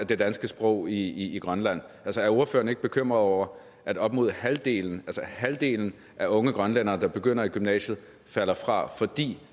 det danske sprog i grønland altså er ordføreren ikke bekymret over at op mod halvdelen halvdelen af unge grønlændere der begynder i gymnasiet falder fra fordi